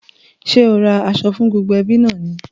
Ṣé o ra aṣọ fún gbogbo ẹbí náà ni?